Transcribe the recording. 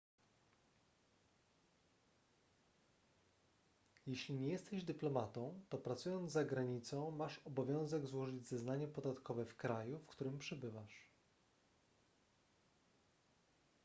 jeśli nie jesteś dyplomatą to pracując za granicą masz obowiązek złożyć zeznanie podatkowe w kraju w którym przebywasz